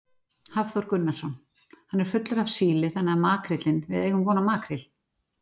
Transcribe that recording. Hafþór Gunnarsson: Hann er fullur af síli þannig að makríllinn, við eigum von á makríl?